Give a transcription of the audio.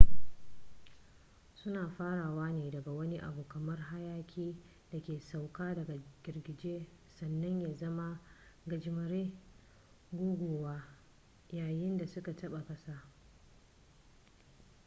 suna farawa ne daga wani abu kamar hayaki da ke sauka daga girgije sannan ya zama gajimare guguwa” yayin da suka taba kasa